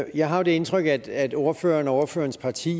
jeg har det indtryk at ordføreren og ordførerens parti